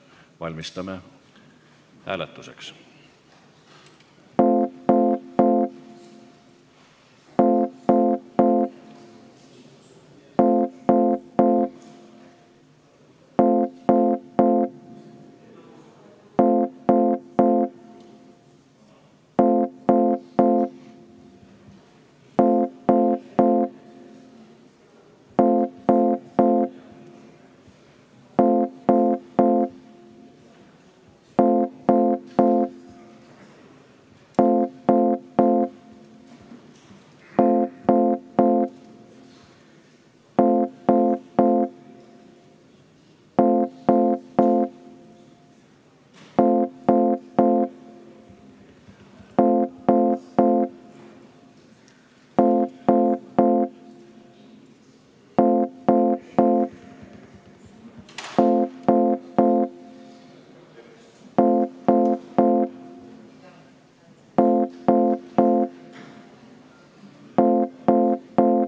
Valmistume hääletuseks.